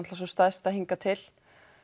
sú stærsta hingað til